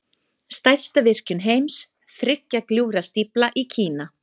Stærsta virkjun heims, Þriggja gljúfra stífla í Kína.